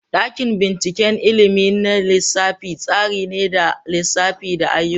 Dakin binciken ilimin na lissafi tsari ne na lissafi da ayyuka.